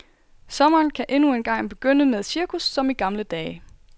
Sommeren kan endnu engang begynde med cirkus som i gamle dage.